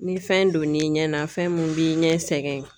Ni fɛn donn'i ɲɛ na fɛn mun b'i ɲɛ sɛgɛn.